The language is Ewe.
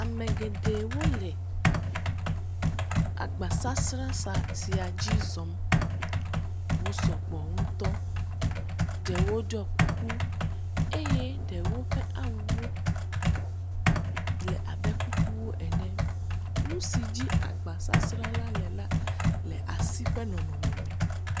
Ame geɖewo le agbasasra sa, sia dzi zɔm. Wo sɔgbɔ ŋutɔ. Ɖewo ɖɔɔ kuku eye ɖewo ƒe awuwo le abe kuku ne. Nu si dzi agbasasrala le la le asi ƒe nɔnɔme me.